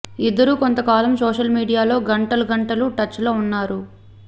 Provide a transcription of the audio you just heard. ఇద్దరూ కొంతకాలం సోషల్ మీడియాలో గంటలు గంటలు టచ్ లో ఉన్నారు